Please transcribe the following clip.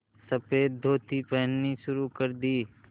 सफ़ेद धोती पहननी शुरू कर दी